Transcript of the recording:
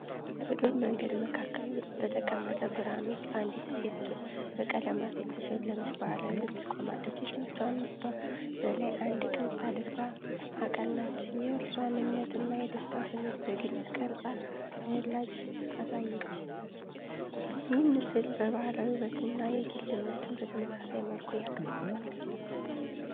በዱር መንገድ መካከል በተቀመጠ ብርሃን ውስጥ አንዲት ሴት በቀለማት የተሸለመች ባህላዊ ልብስ ቆማለች። እጆቿንበላይ አንድ ቅርፅ አድርጋ አቀናች፣ የእርሷን እምነትና የደስታ ስሜት በግልጽ ቅርጸ ተወላጅ አሳየች። ይህ ምስል የባህላዊ ውበትን እና የግል እምነትን በተመሳሳይ መልኩ ያቀርባል።